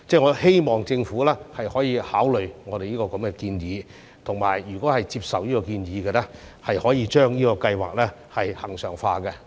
我希望政府能考慮我這個建議，如果接受建議，可以將計劃恆常化。